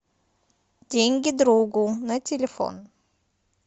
деньги другу на телефон